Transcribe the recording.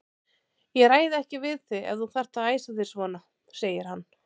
Ég ræði ekki við þig ef þú þarft að æsa þig svona, segir hann.